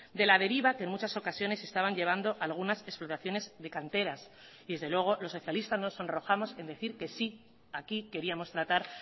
de la deriva que en muchas ocasiones se estaban llevando algunas explotaciones de canteras y desde luego los socialistas nos sonrojamos en decir que sí aquí queríamos tratar